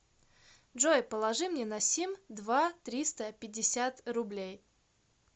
джой положи мне на сим два триста пятьдесят рублей